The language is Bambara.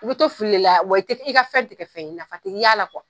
I bi to fili de la wa i tɛ i ka fɛn ti kɛ fɛn ye, nafa ti y'a la